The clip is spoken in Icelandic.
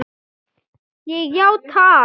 Ég játa allt